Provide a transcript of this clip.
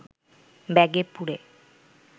ব্যাগে পুরে